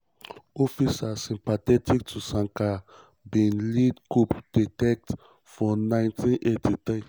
officers sympathetic to sankara bin lead coup d'état for 1983.